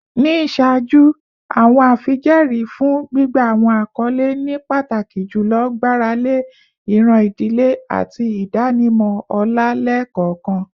Ni iṣaaju, awọn afijẹẹri fun gbigba awọn akọle ni pataki julọ gbarale iran idile ati idanimọ ọlá lẹẹkọọkan.